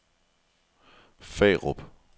Farup